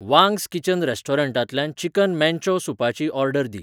Wang's kitchen रेस्टॉरंटांतल्यान chicken manchow सूपाची order दी